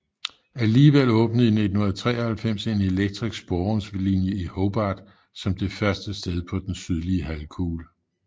Alligevel åbnede i 1893 en elektrisk sporvognslinje i Hobart som det første sted på den sydlige halvkugle